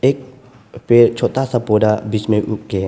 छोटा सा पौधा बीच में उग के है।